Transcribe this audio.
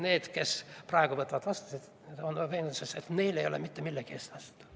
" Need, kes praegu võtavad vastu selle seaduse, on veendunud, et neil ei ole mitte millegi eest vastutada.